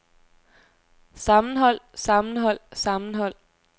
sammenhold sammenhold sammenhold